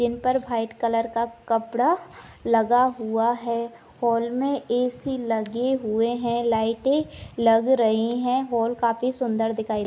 इन पर white colour का कपड़ा लगा हुआ है हॉल में एक ही लगे हुए हैं लाइटें लग रही हैं हॉल काफी सुंदर दिखाई --